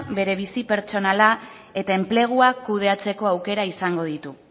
bere bizi pertsonala eta enplegua kudeatzeko aukera izango ditu